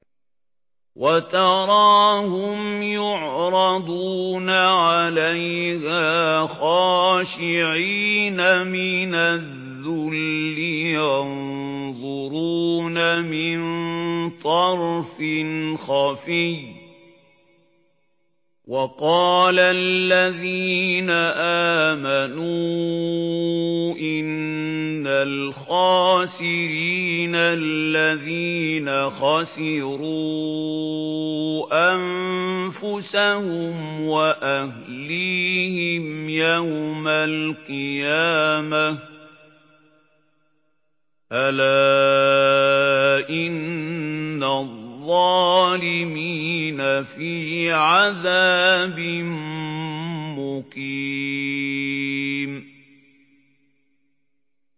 وَتَرَاهُمْ يُعْرَضُونَ عَلَيْهَا خَاشِعِينَ مِنَ الذُّلِّ يَنظُرُونَ مِن طَرْفٍ خَفِيٍّ ۗ وَقَالَ الَّذِينَ آمَنُوا إِنَّ الْخَاسِرِينَ الَّذِينَ خَسِرُوا أَنفُسَهُمْ وَأَهْلِيهِمْ يَوْمَ الْقِيَامَةِ ۗ أَلَا إِنَّ الظَّالِمِينَ فِي عَذَابٍ مُّقِيمٍ